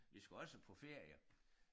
Vi skulle også på ferie